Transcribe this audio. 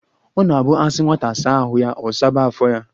Ọ na-abụ asi nwata saa ahu ya, ọ saba afọ ya